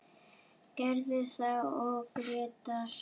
Gerður og Grétar.